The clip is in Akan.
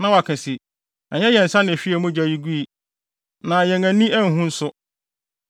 na wɔaka se, “Ɛnyɛ yɛn nsa na ehwiee mogya yi gui, na yɛn ani anhu nso.